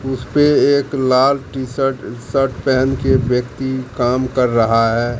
उसपे एक लाल टी शर्ट शर्ट पेहन के व्यक्ति काम कर रहा है।